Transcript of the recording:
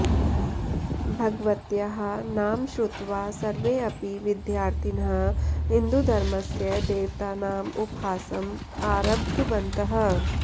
भगवत्याः नाम श्रुत्वा सर्वेऽपि विद्यार्थिनः हिन्दूधर्मस्य देवतानाम् उपहासम् आरब्धवन्तः